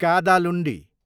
Kadalundi